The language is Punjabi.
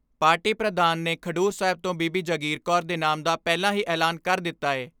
ਪਾਰਟੀ ਪ੍ਰਧਾਨ ਨੇ ਖਡੂਰ ਸਾਹਿਬ ਤੋਂ ਬੀਬੀ ਜਗਰੀ ਕੌਰ ਦੇ ਨਾਮ ਦਾ ਪਹਿਲਾਂ ਹੀ ਐਲਾਨ ਕਰ ਦਿੱਤਾ ਏ।